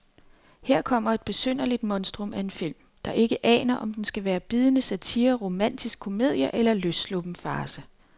Her kommer et besynderligt monstrum af en film, der ikke aner om den skal være bidende satire, romantisk komedie eller løssluppen farce.